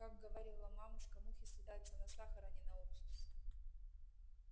как говорила мамушка мухи слетаются на сахар а не на уксус